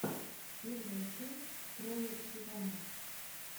первая часть троя сивана